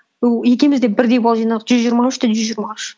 бұл екеуміз де бірдей балл жинадық жүз жиырма үш те жүз жиырма үш